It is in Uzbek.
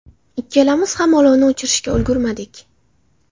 Ikkalamiz ham olovni o‘chirishga ulgurmadik.